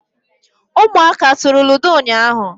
ụmụaka e turu ludo ụnyahụ?